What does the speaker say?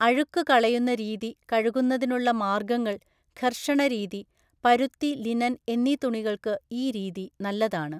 അഴുക്കു കളയുന്ന രീതി കഴുകുന്നതിനുള്ള മാർഗ്ഗങ്ങൾ, ഘർഷണരീതി, പരുത്തി ലിനൻ എന്നീ തുണികൾക്ക് ഈ രീതി നല്ലതാണ്.